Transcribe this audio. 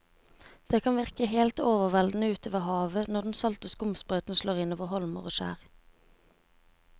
Det kan virke helt overveldende ute ved havet når den salte skumsprøyten slår innover holmer og skjær.